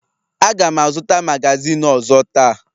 Aga m azụta magazin ọzọ taa